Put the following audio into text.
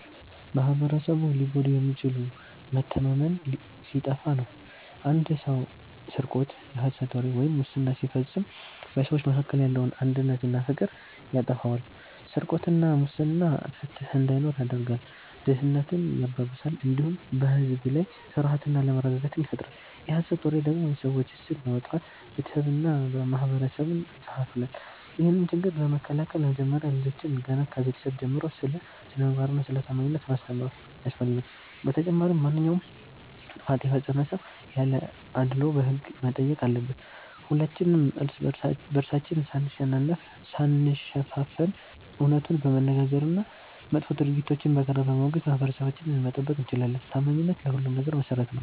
ማኅበረሰቡ ሊጎዳ የሚችለው መተማመን ሲጠፋ ነው። አንድ ሰው ስርቆት፣ የሐሰት ወሬ ወይም ሙስና ሲፈጽም በሰዎች መካከል ያለውን አንድነትና ፍቅር ያጠፋዋል። ስርቆትና ሙስና ፍትሕ እንዳይኖር ያደርጋል፣ ድህነትን ያባብሳል፣ እንዲሁም በሕዝብ ላይ ፍርሃትና አለመረጋጋትን ይፈጥራል። የሐሰት ወሬ ደግሞ የሰዎችን ስም በማጥፋት ቤተሰብንና ማኅበረሰብን ይከፋፍላል። ይህንን ችግር ለመከላከል መጀመሪያ ልጆችን ገና ከቤተሰብ ጀምሮ ስለ ስነ-ምግባርና ስለ ታማኝነት ማስተማር ያስፈልጋል። በተጨማሪም ማንኛውም ጥፋት የፈጸመ ሰው ያለ አድልዎ በሕግ መጠየቅ አለበት። ሁላችንም እርስ በርሳችን ሳንሸፋፈን እውነቱን በመነጋገርና መጥፎ ድርጊቶችን በጋራ በማውገዝ ማኅበረሰባችንን መጠበቅ እንችላለን። ታማኝነት ለሁሉም ነገር መሠረት ነው።